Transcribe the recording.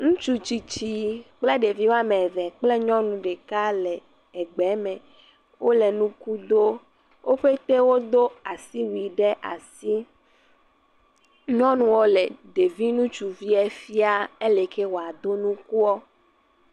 Ŋutsu tsitsi kple ɖevi woame eve kple nyɔnu ɖeke le egbeeme. Wole nuku doo. Wo ƒete wodo asiwui ɖe asi. Nyɔnuɔ le ɖevi ŋutsuviɛ fiaa ele yi ke wòado nukuɔ.